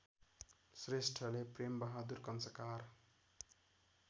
श्रेष्ठले प्रेमबहादुर कङ्साकार